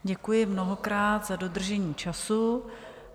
Děkuji mnohokrát za dodržení času.